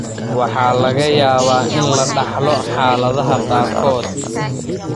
Waxaa laga yaabaa in la dhaxlo xaaladaha qaarkood.